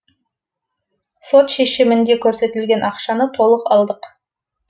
сот шешімінде көрсетілген ақшаны толық алдық